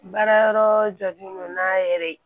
Baara yɔrɔ jɔlen don n'a yɛrɛ ye